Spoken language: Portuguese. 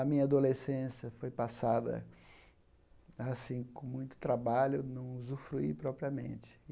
A minha adolescência foi passada assim com muito trabalho, não usufruí propriamente.